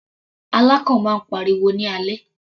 Alákàn máa ń pariwo ní alẹ́.